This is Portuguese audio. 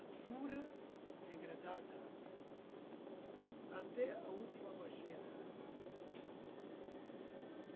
Ah, pura, degradada, até a última baixeza.